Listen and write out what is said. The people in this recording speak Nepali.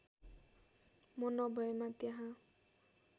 म नभएमा त्यहाँ